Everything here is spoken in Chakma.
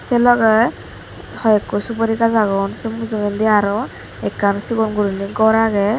se logey hoyekko subori gajch agon se mujungedi ekkan sigon guriney gor agey.